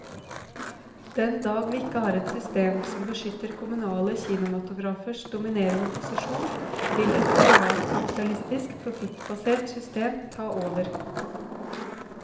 Den dag vi ikke har et system som beskytter kommunale kinematografers dominerende posisjon, vil et privatkapitalistisk, profittbasert system ta over.